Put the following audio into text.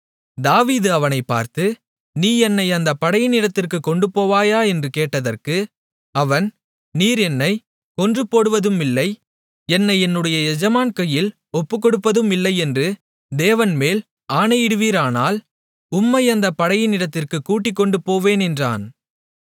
தாவீது அவனை பார்த்து நீ என்னை அந்த படையினிடத்திற்குக் கொண்டுபோவாயா என்று கேட்டதற்கு அவன் நீர் என்னைக் கொன்றுபோடுவதுமில்லை என்னை என்னுடைய எஜமான் கையில் ஒப்புக்கொடுப்பதுமில்லை என்று தேவன்மேல் ஆணையிடுவீரானால் உம்மை அந்தத் படையினிடத்திற்குக் கூட்டிக்கொண்டுபோவேன் என்றான்